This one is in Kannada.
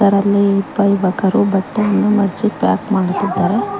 ಅಲ್ಲಿ ಇಬ್ಬ ಯುವಕರು ಬಟ್ಟೆಯನ್ನು ಮಡಿಚಿ ಪ್ಯಾಕ್ ಮಾಡುತ್ತಿದ್ದಾರೆ.